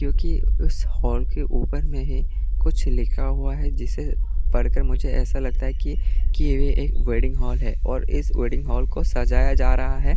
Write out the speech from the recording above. क्योंकि उस हाल के ऊपर में है कुछ लिखा हुआ है जिसे पढ़कर मुझे ऐसा लगता है कि यह एक वेडिंग हॉल है और इस वेडिंग हॉल को सजाया जा रहा है।